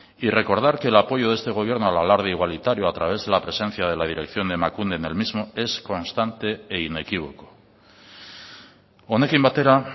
y recordar que el apoyo de este gobierno al alarde igualitario a través de la presencia de la dirección de emakunde en el mismo es constante e inequívoco honekin batera